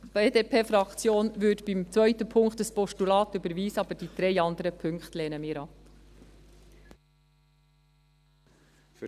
Die BDP-Fraktion würde beim zweiten Punkt ein Postulat überweisen, aber die drei anderen Punkte lehnen wir ab.